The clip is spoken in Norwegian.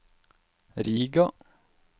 Riga